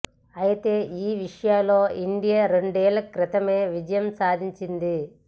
అయితే ఈ విషయంలో ఇండియా రెండేళ్ల క్రితమే విజయం సాధించింది